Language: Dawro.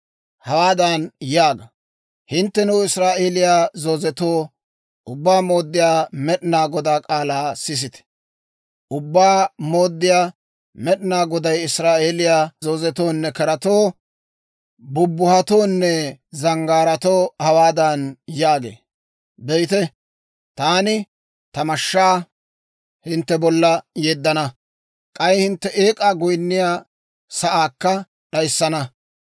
Hawaadan yaaga, ‹Hinttenoo, Israa'eeliyaa zoozetoo, Ubbaa Mooddiyaa Med'inaa Godaa k'aalaa sisite! Ubbaa Mooddiyaa Med'inaa Goday Israa'eeliyaa zoozetoonne keratoo, bubuhatoonne zanggaaratoo hawaadan yaagee; Be'ite, taani, ta mashshaa hintte bolla yeddana; k'ay hintte eek'aa goyinniyaa sa'aakka d'ayissana.